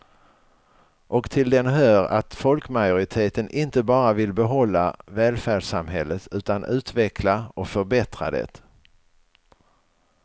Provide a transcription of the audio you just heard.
Och till den hör att folkmajoriteten inte bara vill behålla välfärdssamhället utan utveckla och förbättra det.